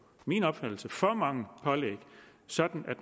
min opfattelse for mange pålæg sådan